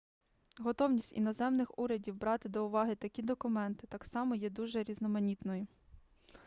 готовність іноземних урядів брати до уваги такі документи так само є дуже різноманітною